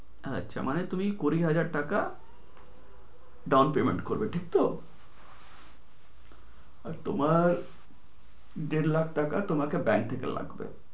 আচ্ছা মানে তুমি কুড়ি হাজার টাকা down payment করবে ঠিক তো? আর তোমার দেড় লাখ টাকা তোমাকে bank থেকে লাগবে।